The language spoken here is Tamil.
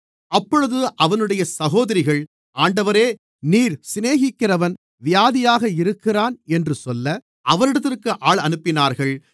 அப்பொழுது அவனுடைய சகோதரிகள் ஆண்டவரே நீர் சிநேகிக்கிறவன் வியாதியாக இருக்கிறான் என்று சொல்ல அவரிடத்திற்கு ஆள் அனுப்பினார்கள்